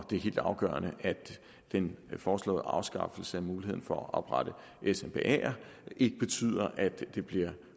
det er helt afgørende at den foreslåede afskaffelse af muligheden for at oprette smbaer ikke betyder at det bliver